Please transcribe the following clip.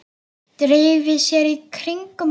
Dreifi sér í kringum hann.